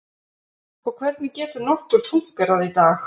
Hvernig getur nokkur fúnkerað í dag?